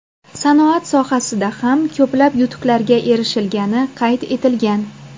Sanoat sohasida ham ko‘plab yutuqlarga erishilgani qayd etilgan.